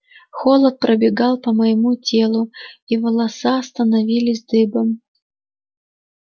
холод пробегал по моему телу и волоса становились дыбом